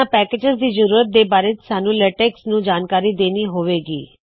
ਇਹਨਾ ਪੈਕੇਜਿਜ਼ ਦੀ ਜ਼ਰੂਰਤ ਦੇ ਬਾਰੇ ਸਾੱਨੂ ਲੇਟੈਕਸ ਨੂੰ ਜਾਨਕਾਰੀ ਦੇਨੀ ਹੋਵੇ ਗੀ